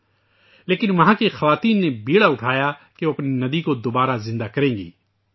لیکن ، وہاں کی خواتین نے اپنی ندی کو دوبارہ زندہ کرنے کا بیڑا اٹھایاکہ وہ اپنی ندی کو دوبارہ زندگی کریں گی